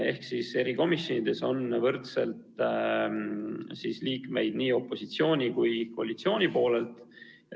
Ehk siis erikomisjonides on võrdselt liikmeid nii opositsiooni kui ka koalitsiooni poolelt.